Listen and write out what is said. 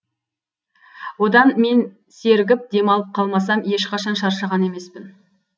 одан мен сергіп демалып қалмасам ешқашан шаршаған емеспін